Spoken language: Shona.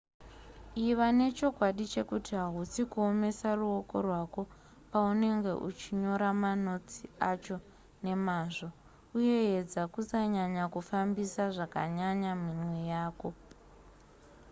iva nechokwadi chekuti hausi kuomesa ruoko rwako paunenge uchinyora manotsi acho nemazvo uye edza kusanyanya kufambisa zvakanyanya minwe yako